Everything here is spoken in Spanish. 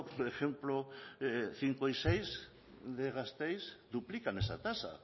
por ejemplo cinco y seis de gasteiz duplican esa tasa